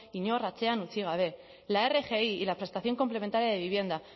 inor atzean utzi gabe la rgi y la prestación complementaria de vivienda